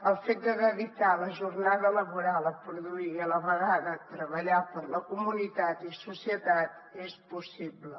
el fet de dedicar la jornada laboral a produir i a la vegada a treballar per la comunitat i societat és possible